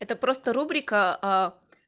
это просто рубрика